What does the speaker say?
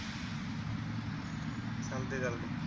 चालतंय चालतंय.